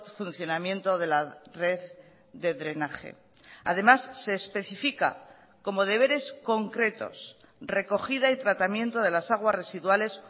funcionamiento de la red de drenaje además se especifica como deberes concretos recogida y tratamiento de las aguas residuales